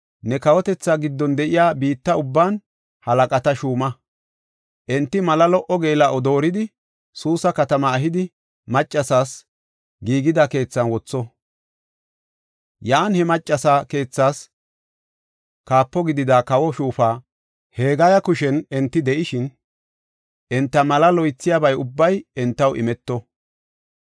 ne kawotethaa giddon de7iya biitta ubban halaqata shuuma. Enti mala lo77o geela7o dooridi, Suusa katamaa ehidi, maccasas giigida keethan wotho. Yan he maccasa keethaas kaapo gidida kawo shuufa Hegaya kushen enti de7ishin, enta malaa loythiyaba ubbay entaw imeto.